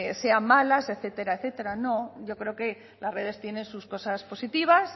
sean malas etcétera etcétera no yo creo que las redes tienen sus cosas positivas